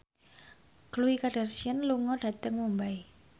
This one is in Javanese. Khloe Kardashian lunga dhateng Mumbai